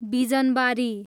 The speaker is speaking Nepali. बिजनबारी